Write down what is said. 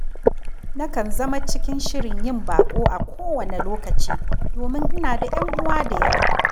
Nakan zama cikin shirin yin baƙo a kowane lokaci, domin ina da 'yan uwa da yawa